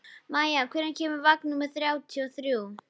Maia, hvenær kemur vagn númer þrjátíu og þrjú?